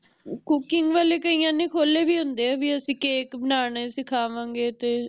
cooking ਵਾਲੇ ਕਈਆਂ ਨੇ ਖੋਲ੍ਹੇ ਵੀ ਹੁੰਦੇ ਆ ਵੀ ਅਸੀਂ cake ਬਣਾਨਾ ਸਿਖਾਵਾਂਗੇ ਤੇ